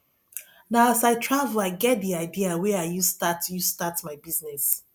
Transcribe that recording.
na as i travel i get di idea wey i use start use start my business